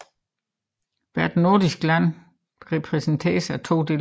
Hvert nordisk land repræsenteres af to deltagere